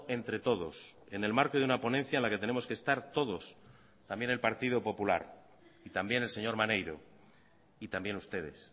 entre todos en el marco de una ponencia en la que tenemos que estar todos también el partido popular y también el señor maneiro y también ustedes